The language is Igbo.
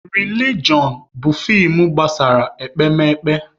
Rilijọn bụ feem gbasara ekpemekpe.